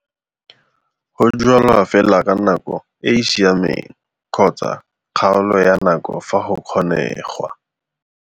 Go jwala fela ka nako e e siameng kgotsa kgaolo ya nako fa go kgonengwa.